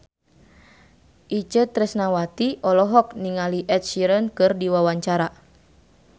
Itje Tresnawati olohok ningali Ed Sheeran keur diwawancara